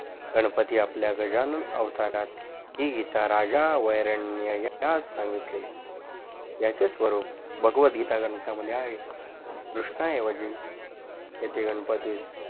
गणपती आपल्या गजानन अवतारात याचे स्वरूप भगवतगीता ग्रंथा मध्ये आहे कृष्ना एवजी येथे गणपतीस